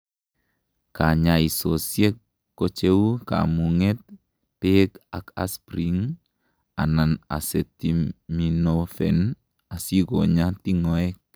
kanyaisosiek kocheu komunget, beek ak aspirin anan acetaminophen asikonyaa tingoek